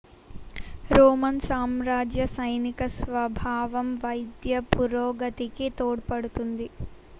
Roman సామ్రాజ్య సైనిక స్వభావం వైద్య పురోగతికి తోడ్పడింది